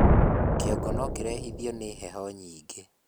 kĩongo nokirehithio ni heho nyingĩ